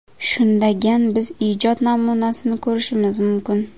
Shundagan biz ijod namunasini ko‘rishimiz mumkin.